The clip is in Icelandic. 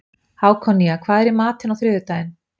Hákonía, hvað er í matinn á þriðjudaginn?